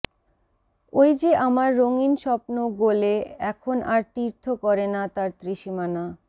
ওই যে আমার রঙীন স্বপ্ন গলে এখন আর তীর্থ করেনা তার ত্রিসীমানা